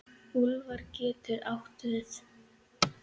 Úlfar getur átt við